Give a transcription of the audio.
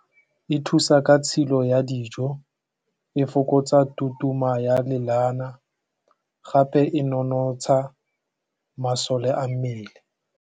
E thusa ka tshilo ya dijo e fokotsa tutuma ya lelana gape e nonotsha masole a mmele.